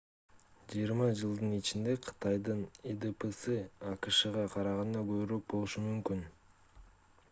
жыйырма жылдын ичинде кытайдын идпсы акшга караганда көбүрөөк болушу мүмкүн